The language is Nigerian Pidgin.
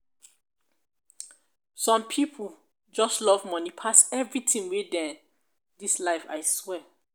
some pipo just love money pass everything wey dem dis life aswear